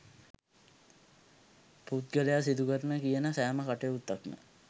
පුද්ගලයා සිදුකරන කියන සෑම කටයුත්තක්ම